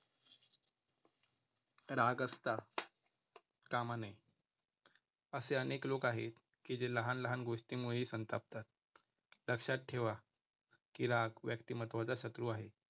राग असता कामा नये. असे अनेक लोक आहेत की जे लहान लहान गोष्टीमुळे संतापतात. लक्षात ठेवा, की राग व्यक्तिमत्त्वाचा शत्रू आहे.